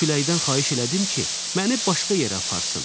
Küləkdən xahiş elədim ki, məni başqa yerə aparsın.